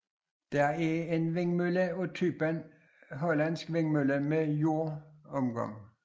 Det er en vindmølle af typen Hollandsk vindmølle med jordomgang